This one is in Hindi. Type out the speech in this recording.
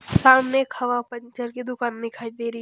सामने एक हवा पंचर की दुकान दिखाई दे री --